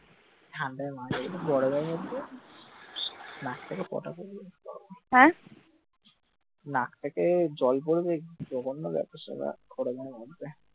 নাক থেকে পোটা পড়বে নাক থেকে জল পড়বে কি জঘন্য ব্যাপার সেপার এই গরমের মধ্যে